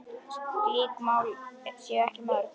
Slík mál séu ekki mörg.